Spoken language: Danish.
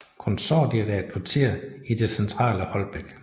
Konsortiet er et kvarter i det centrale Holbæk